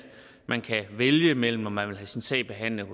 man kan vælge imellem om man vil have sin sag behandlet